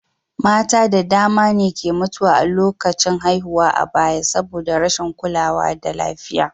Mata da dama ne ke mutuwa a lokacin haihuwa a baya saboda rashin kulawa da lafiya.